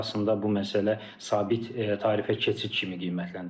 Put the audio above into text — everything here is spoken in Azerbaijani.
Və əhali arasında bu məsələ sabit tarifə keçid kimi qiymətləndirilir.